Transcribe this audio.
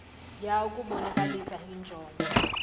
ya ukubonakalisa injongo